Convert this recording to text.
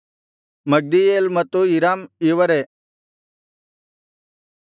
ಮಗ್ದೀಯೇಲ್ ಮತ್ತು ಇರಾಮ್ ಇವರೇ